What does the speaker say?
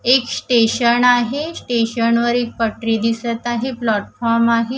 एक स्टेशन आहे स्टेशन वर एक पटरी दिसत आहे प्लॅटफॉर्म आहे.